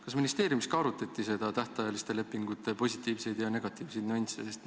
Kas ministeeriumis ka arutati tähtajaliste lepingute positiivseid ja negatiivseid nüansse?